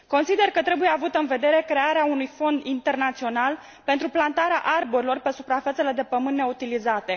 Consider că trebuie avută în vedere crearea unui fond internațional pentru plantarea arborilor pe suprafețele de pământ neutilizate.